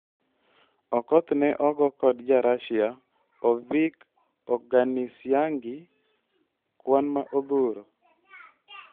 Okoth ne ogo kod jarasia Ovik Oganisyangi kwan ma odhuro